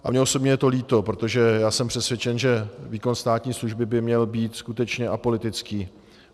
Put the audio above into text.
A mně osobně je to líto, protože já jsem přesvědčen, že výkon státní služby by měl být skutečně apolitický.